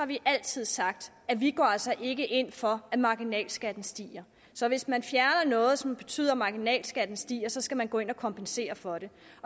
vi altid sagt at vi altså ikke går ind for at marginalskatten stiger så hvis man fjerner noget som betyder at marginalskatten stiger så skal man gå ind at kompensere for det